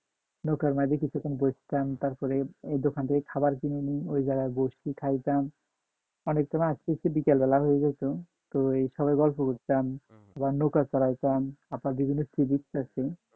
নৌকার মাঝে তে কিছুক্ষণ বসতাম তারপরে দোকান থেকে খাবার কিনে নিয়ে ওই জায়গায় বসতে খাইতাম অনেক সময় আসতে আসতে বিকেল বেলায় হয়ে যাইতো তো সবাই গল্প করতাম আবার নৌকা চড়াইতাম আবার বিভিন্ন